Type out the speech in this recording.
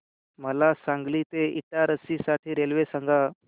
मला सांगली ते इटारसी साठी रेल्वे सांगा